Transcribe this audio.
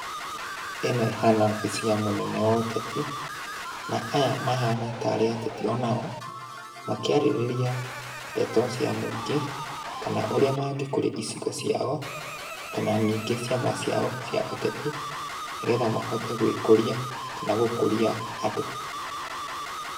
Ĩno ĩhana obici ya mũnene wa ũteti, na aya mahana tarĩ ateti o nao, makĩarĩrĩria ndeto cia mũingĩ, kana ũrĩa mangĩkũria icigo ciao, kana ningĩ ciama ciao cia ũteti, nĩgetha mahote gwĩkũria, kana gũkũria andũ.